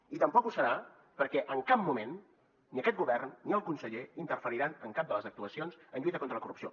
i tampoc ho serà perquè en cap moment ni aquest govern ni el conseller interferiran en cap de les actuacions en lluita contra la corrupció